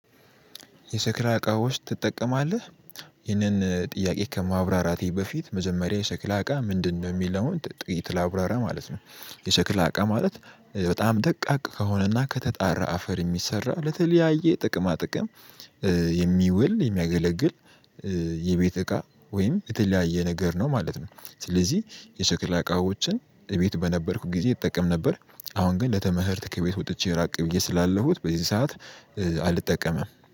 የሸክላ እቃ ውስጥ ትጠቀማለህ? ይህንን ጥያቄ ከማብራራቴ በፊት መጀመሪያ የሰክላ እቃ ምንድነው የሚለውን ጥቂት ላብራራ ማለት ነው። የሸክላ አቃ ማለት በጣም ደቃቅ ከሆነና ከተጣራ አፈር የሚሰራ ለተለያየ ጥቅማ ጥቅም። የሚውል የሚያገለግል የቤት እቃ ወይም የተለያየ ነገር ነው ማለት ነው። ስለዚህ የሰቅላ እቃዎችን እቤት በነበርኩት ጊዜ ይጠቀም ነበር። አሁን ግን ለትምህርት ቤት ወጥቼ ራቅ ብዬ ስላለሁ በዚህ ሰዓት። አልጠቀምም